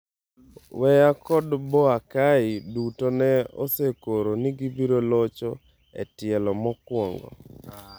Weah kod Boakai duto ne osekoro ni gibiro locho e tielo mokwongo.